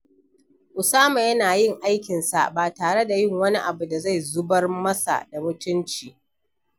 Usama yana yin aikinsa ba tare da yin wani abu da zai zubar masa da mutunci.